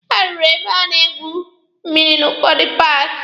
A rụrụ ebe a na-egwu mmịrị n'ụfọdụ paaki.